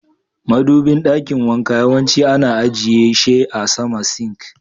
Madubin dakin wanka yawanci ana ajiye she a sama "sink".